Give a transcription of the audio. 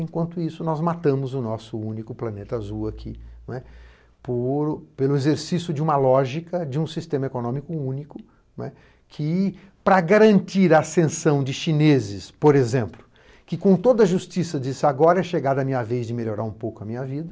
Enquanto isso, nós matamos o nosso único planeta azul aqui, pelo exercício de uma lógica de um sistema econômico único que, para garantir a ascensão de chineses, por exemplo, que com toda a justiça disso agora é chegada a minha vez de melhorar um pouco a minha vida,